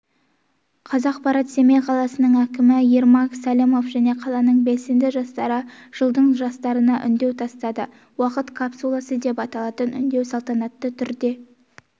қазақпарат семей қаласының әкімі ермак сәлімов және қаланың белсенді жастары жылдың жастарына үндеу тастады уақыт капсуласы деп аталатын үндеу салтанатты түрде